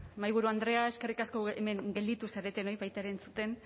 mahaiburu andrea eskerrik asko hemen gelditu zaretenoi baita ere entzuten